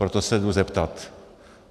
Proto se jdu zeptat.